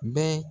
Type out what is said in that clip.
Bɛɛ